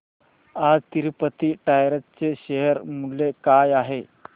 आज तिरूपती टायर्स चे शेअर मूल्य काय आहे